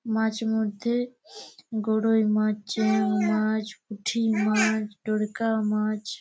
মাছ মধ্যে রুই মাছ চিংড়ি মাছ পুঠি মাছ মাছ।